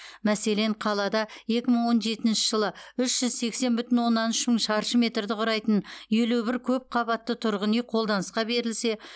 мәселен қалада екі мың он жетінші жылы үш жүз сексен бүтін оннан үш мың шаршы метрді құрайтын елу бір көп қабатты тұрғын үй қолданысқа берілсе